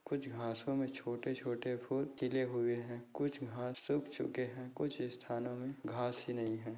कुछ घासो मे छोटे छोटे फूल खिले हुए है कुछ घास उग चुके है कुछ स्थानो मे घास ही नहीं है।